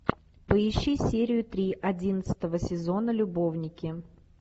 поищи серию три одиннадцатого сезона любовники